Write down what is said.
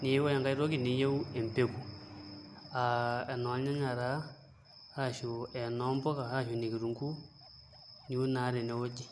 neeku ore enkai toki niyieu empeku aa enolnyanya taa arashu enoo mpuka ashu ene kitunguu niun naa tenewueji.